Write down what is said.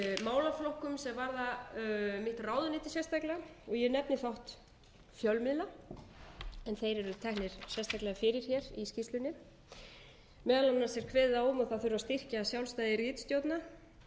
málaflokkum sem varða mitt ráðuneyti sérstaklega og ég nefni þátt fjölmiðla en þeir eru teknir sérstaklega fyrir hér í skýrslunni meðal annars er kveðið á um að það þurfi að styrkja sjálfstæði ritstjórna það eigi að vera skylt að